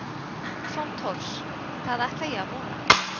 Stefán Thors: Það ætla ég að vona?